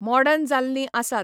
Modern जाल्लीं आसात.